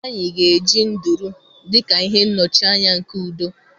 Anyị ga-eji nduru dị ka ihe nnọchianya nke udo.